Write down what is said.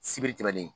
Sibiri tɛmɛnen